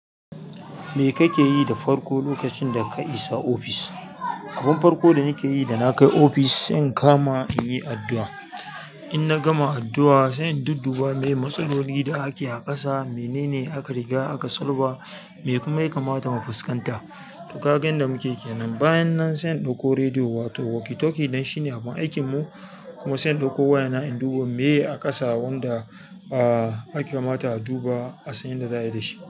Me kake yi da farko lokacin da ka isa ofis? Abin farko da nake yi da na kai ofis, sai in kama in yi addu'a. Inna gama addu'a, sai in dudduba miye matsaloli da ake a ƙasa, mene ne aka riga aka sulba, me kuma ya kamata mu fuskanta. To, kaga yanda muke kenan. Bayan nan sai in ɗauko rediyo wato walkie talkie dai shine abin aikin mu kuma sai in ɗauko wayana in duba miye a ƙasa wanda ya kamata a duba a san yadda za a yi da shi.